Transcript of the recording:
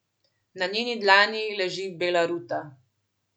Na njeni dlani leži bela ruta.